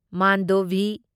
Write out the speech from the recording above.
Mandovi